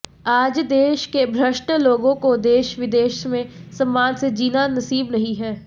आज देश के भ्रष्ट लोगों को देश विदेश में सम्मान से जीना नसीब नहीं है